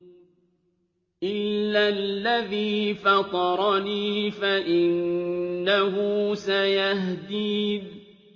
إِلَّا الَّذِي فَطَرَنِي فَإِنَّهُ سَيَهْدِينِ